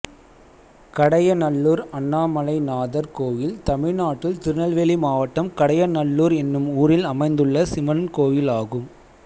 கடையநல்லூர் அண்ணாமலைநாதர் கோயில் தமிழ்நாட்டில் திருநெல்வேலி மாவட்டம் கடையநல்லூர் என்னும் ஊரில் அமைந்துள்ள சிவன் கோயிலாகும்